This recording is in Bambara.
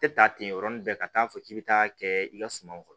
Tɛ taa ten yɔrɔnin bɛɛ ka taa fɔ k'i bɛ taa kɛ i ka suma kɔrɔ